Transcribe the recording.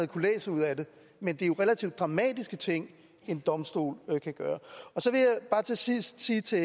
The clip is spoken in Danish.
kunnet læse ud af det men det er relativt dramatiske ting en domstol kan gøre så vil jeg bare til sidst sige til